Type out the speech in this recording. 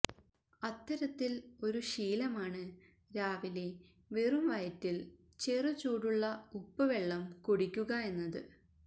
അത്തരത്തിൽ ഒരു ശീലമാണ് രാവിലെ വെറും വയറ്റിൽ ചെറു ചൂടുള്ള ഉപ്പ് വെള്ളം കുടിക്കുക എന്നത്